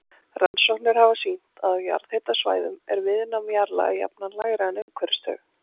Rannsóknir hafa sýnt að á jarðhitasvæðum er viðnám jarðlaga jafnan lægra en umhverfis þau.